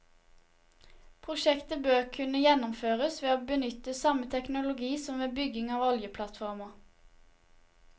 Prosjektet bør kunne gjennomføres ved å benytte samme teknologi som ved bygging av oljeplattformer.